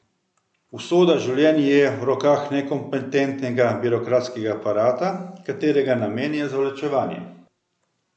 Usoda življenj je v rokah nekompetentnega birokratskega aparata, katerega namen je zavlačevanje.